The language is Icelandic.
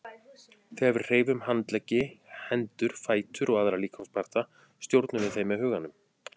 Þegar við hreyfum handleggi, hendur, fætur og aðra líkamsparta stjórnum við þeim með huganum.